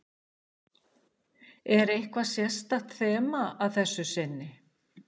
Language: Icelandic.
Er eitthvað sérstakt þema að þessu sinni?